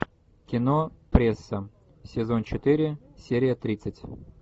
кино пресса сезон четыре серия тридцать